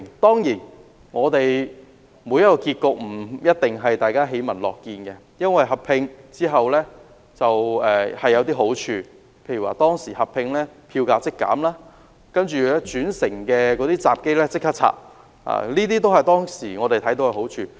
當然，每個結果也不一定是大家喜聞樂見的，但兩鐵合併後亦有好處，例如合併後票價即減、轉乘閘機被拆掉，這些都是我們當時看到的好處。